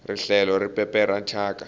rihlelo ri pepera thyaka